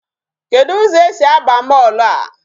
Kedụ ụzọ esi aba mall a?